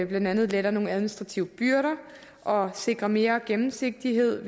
blandt andet letter nogle administrative byrder og sikrer mere gennemsigtighed